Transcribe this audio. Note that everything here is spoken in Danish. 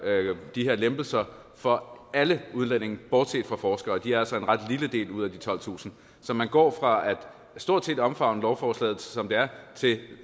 de her lempelser for alle udlændinge bortset fra forskere de er altså en ret lille del ud af de tolvtusind så man går fra stort set at omfavne lovforslaget som det er til